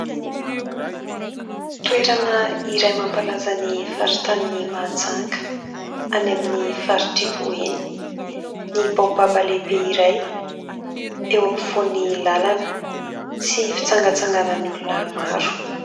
Toerana iray mampalaza ny faritanin'i Mahajanga any amin'ny faritr'i boeny ny baobaba lehibe iray eo ampovoany lalana sy fitsangatsanganan' ny olona maro.